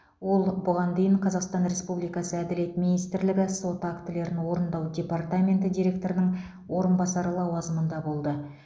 ол бұған дейін қазақстан республикасы әділет министрлігі сот актілерін орындау департаменті директорының орынбасары лауазымында болды